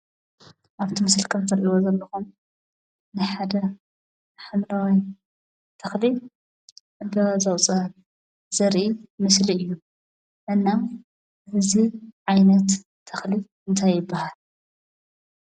አብቲ ምሰሊ ከም እትሪእይዎ ዘለኹም ናይ ሓደ ሓምላዋይ ተኽሊ ዕምበባ ዘውፅአ ዘርኢ ምስሊ እዩ፡፡ እና እዚ ዓይነት ተኽሊ እንታይ ይበሃል፡፡